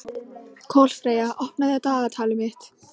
Kolfreyja, opnaðu dagatalið mitt.